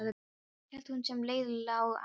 Hélt hún sem leið lá að